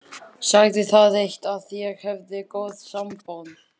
Sagði það eitt að ég hefði góð sambönd.